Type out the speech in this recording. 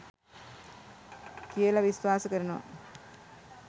කියල විශ්වාස කරනවා.